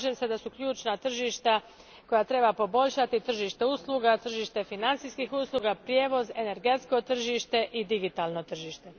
Slažem se da su ključna tržišta koja treba poboljšati tržište usluga, tržište financijskih usluga, prijevoz, energetsko tržište i digitalno tržište.